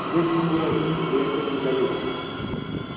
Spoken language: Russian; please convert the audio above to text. где же неприятель неприятель недалече